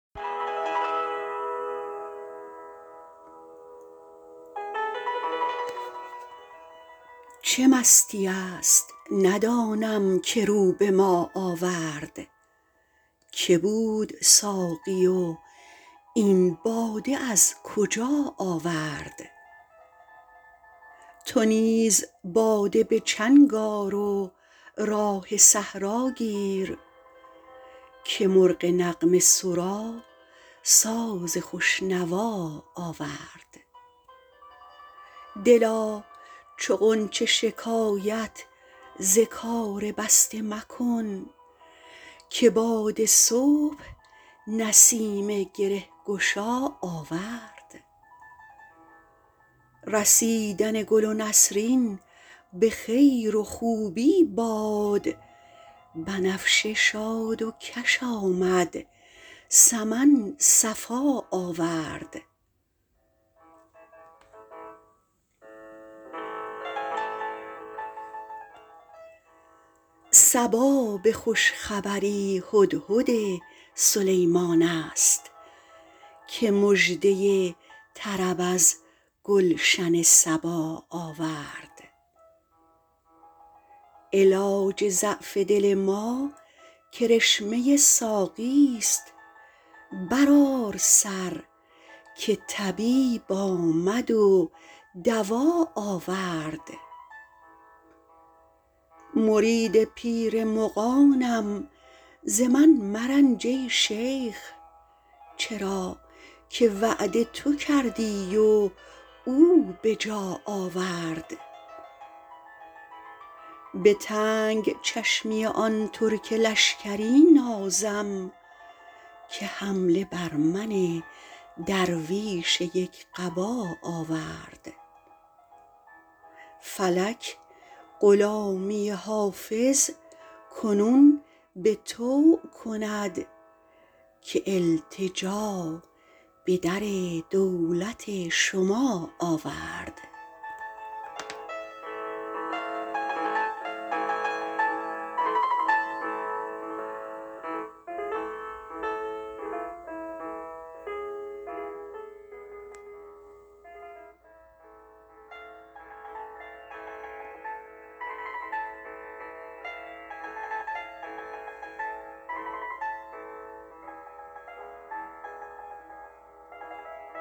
چه مستیی است ندانم که رو به ما آورد که بود ساقی و این باده از کجا آورد چه راه می زند این مطرب مقام شناس که در میان غزل قول آشنا آورد تو نیز باده به چنگ آر و راه صحرا گیر که مرغ نغمه سرا ساز خوش نوا آورد دلا چو غنچه شکایت ز کار بسته مکن که باد صبح نسیم گره گشا آورد رسیدن گل نسرین به خیر و خوبی باد بنفشه شاد و کش آمد سمن صفا آورد صبا به خوش خبری هدهد سلیمان است که مژده طرب از گلشن سبا آورد علاج ضعف دل ما کرشمه ساقیست برآر سر که طبیب آمد و دوا آورد مرید پیر مغانم ز من مرنج ای شیخ چرا که وعده تو کردی و او به جا آورد به تنگ چشمی آن ترک لشکری نازم که حمله بر من درویش یک قبا آورد فلک غلامی حافظ کنون به طوع کند که التجا به در دولت شما آورد